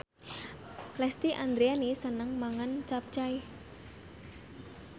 Lesti Andryani seneng mangan capcay